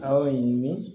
Awɔ